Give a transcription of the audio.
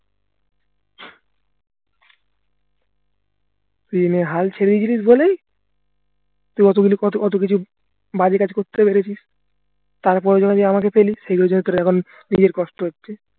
তুই এমন হাল ছেড়ে গেছিস বলেই তুই কতগুলি কত কিছু বাজে কাজ করতে পেরেছিস তারপর যখন এই যে আমাকে পেলি সেই জন্য এখন তোর নিজের কষ্ট হচ্ছে